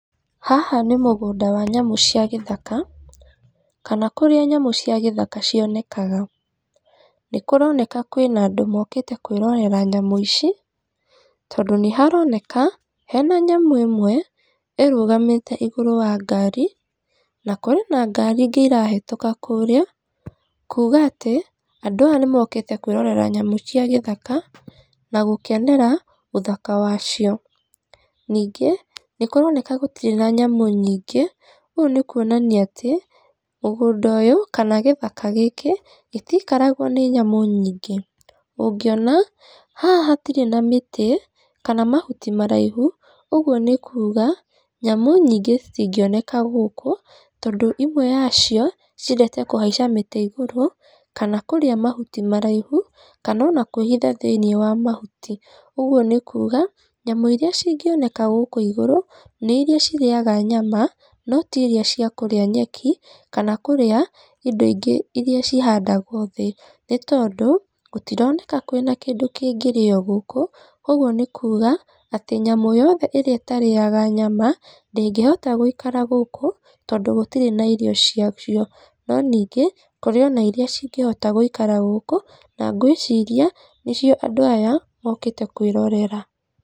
Haha nĩ mũgũnda wa nyamũ cia gĩthaka, kana kũrĩa nyamũ cia gĩthaka cionekaga, nĩ kũroneka kwĩna andũ mokĩte kwĩrorera nyamũ ici, tondũ nĩ haroneka hena nyamũ ĩmwe ĩrũgamĩte igũríũ rĩa ngari, na kũrĩ na ngari ingĩ irahetũka kũrĩa, kuga atĩ andũ aya nĩ mokĩte kwĩrorera nyamũ cia gĩthaka, na gũkenera ũthaka wacio, ningĩ nĩ kũroneka gũtirĩ na nyamũ nyingĩ, ũyũ nĩ kuonania atĩ mũgũnda ũyũ, kana gĩthaka gĩkĩ gĩtikaragwo nĩ nyamũ nyingĩ, ũngĩona haha hatirĩ na mĩtĩ kana mahuti maraihu, ũguo nĩ kuga nyamũ nyingĩ citingĩoneka gũkũ, tondũ imwe yacio ciendete kũhaica mĩtĩ igũrũ, kana kũrĩa mahuti maraihu, kana ona kwĩhitha thĩinĩ wa mahuti, ũguo nĩ kuga nyamũ iria cingĩoneka gũkũ igũrũ, nĩ iria cirĩyaga nyama, no tiria ciakũrĩa nyeki, kana kũrĩa indo ingĩ iria cihandagwo thĩ, nĩ tondũ gũtironeka kwĩna kĩndũ kĩngĩrĩyo gũkũ, koguo nĩ kuga atĩ nyamũ yothe ĩrĩa itarĩyaga nyama, ndĩngĩhota gwĩikara gũkũ tondũ gũtirĩ na irio ciacio, no ningĩ kũrĩ na iria cingĩhota gwĩikara gũkũ, na ngwĩciria nĩcio andũ aya mokĩte kwĩrorera.